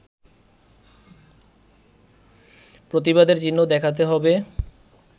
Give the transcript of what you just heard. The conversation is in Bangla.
প্রতিবাদের চিহ্ন দেখাতে হবে